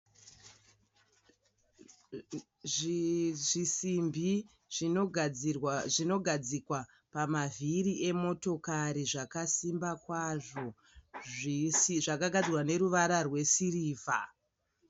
Zvisimbi zvinogadzikwa pamavhiri emotokari zvakasimba kwazvo zvakagadzirwa neruvara rwesirivha.